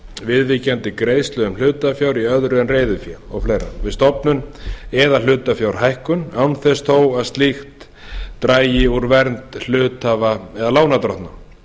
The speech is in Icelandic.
viðvíkjandi greiðslu hlutafjár í öðru en reiðufé og fleira við stofnun eða hlutafjárhækkun án þess þó að slíkt dragi úr vernd hluthafa og lánardrottna